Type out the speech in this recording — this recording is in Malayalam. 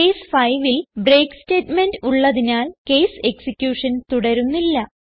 കേസ് 5ൽ ബ്രേക്ക് സ്റ്റേറ്റ്മെന്റ് ഉള്ളതിനാൽ കേസ് എക്സിക്യൂഷൻ തുടരുന്നില്ല